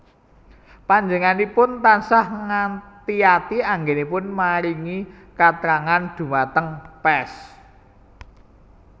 Panjenenganipun tansah ngati ati anggénipun maringi katrangan dhumateng pers